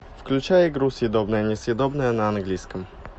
включай игру съедобное несъедобное на английском